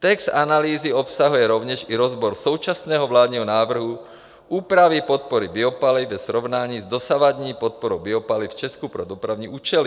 - Text analýzy obsahuje rovněž i rozbor současného vládního návrhu úpravy podpory biopaliv ve srovnání s dosavadní podporou biopaliv v Česku pro dopravní účely.